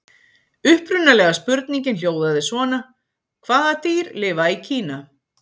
Upprunalega spurningin hljóðaði svona: Hvaða dýr lifa í Kína?